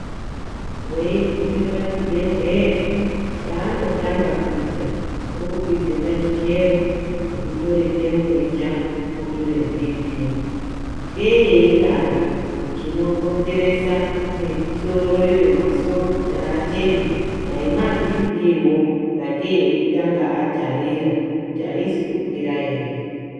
Weigume pachibhedhlera chaanotange kuita kukukwidza pachikero, kukutore temburicha votorebhiiphii. Ngei eidaro? Chinokonzeresa misoroyo, masoro kuti ateme dani ndiwo mabhiiphiiwo, sakei veitanga vatarira kuti aina kukwira ere.